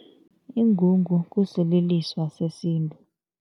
Ingungu kusililiso sesintu.